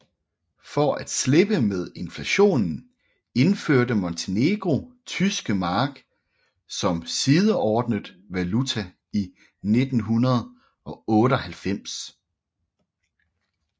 For at slippe af med inflationen indførte Montenegro tyske mark som sideordnet valuta i 1998